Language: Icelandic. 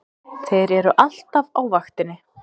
Þeir eru alltaf á vaktinni!